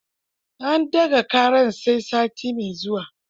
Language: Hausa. An ɗaga ƙarar sai sati mai zuwa.